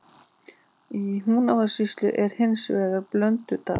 Í Húnavatnssýslu er hins vegar Blöndudalur.